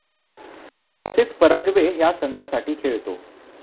तसेच पाराग्वे ह्या संघासाठी खेळतो.